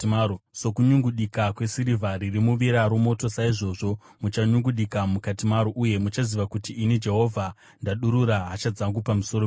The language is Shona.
Sokunyungudika kwesirivha iri muvira romoto, saizvozvo muchanyungudika mukati maro, uye muchaziva kuti ini Jehovha ndadurura hasha dzangu pamusoro penyu.’ ”